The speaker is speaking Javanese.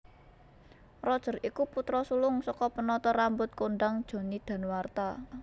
Roger iku putra sulung saka penata rambut kondhang Johnny Danuarta